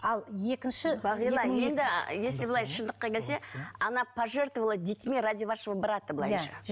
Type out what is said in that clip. ал екінші бағила енді если былай шындыққа келсе она пожертвовала детьми ради вашего брата былайынша